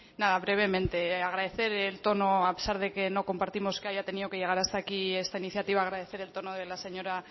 nada brevemente agradecer el tono a pesar de que no compartimos que haya tenido que llegar hasta aquí esta iniciativa agradecer el tono de la señora